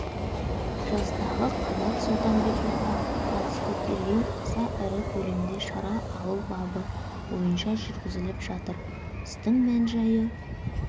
жастағы қанат сұлтанбековқа қатысты тергеу аса ірі көлемде пара алу бабы бойынша жүргізіліп жатыр істің мән-жайы